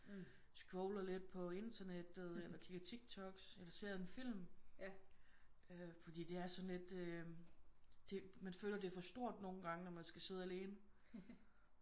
Scroller lidt på internettet eller kigger TikToks eller ser en film øh fordi det er sådan lidt øh det man føler det er for stort nogle gange når man skal sidde alene